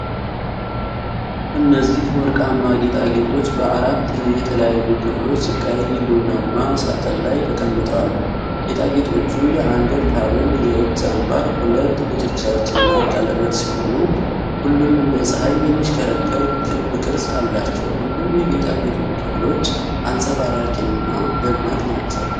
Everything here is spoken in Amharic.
እነዚህ ወርቃማ ጌጣጌጦች በአራት የተለያዩ ክፍሎች ቀይ ቡናማ ሳጥን ላይ ተቀምጠዋል። ጌጣጌጦቹ የአንገት ሐብል፣ የእጅ አምባር፣ ሁለት ጉትቻዎችና ቀለበት ሲሆኑ፣ ሁሉም እንደ ፀሐይ የሚሽከረከር ክብ ቅርጽ አላቸው። ሁሉም የጌጣጌጦቹ ክፍሎች አንጸባራቂ እና ደማቅ ናቸው።